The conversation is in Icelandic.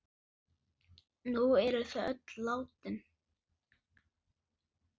Nú eru þau öll látin.